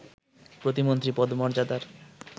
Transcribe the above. প্রতিমন্ত্রী পদমর্যাদার